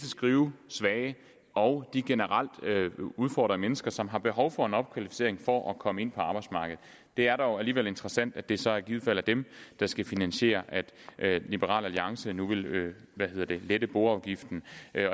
skrivesvage og de generelt udfordrede mennesker som har behov for en opkvalificering for at komme ind på arbejdsmarkedet det er dog alligevel interessant at det så i givet fald er dem der skal finansiere at liberal alliance nu vil vil lette boafgiften